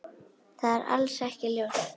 Það er alls ekki ljóst.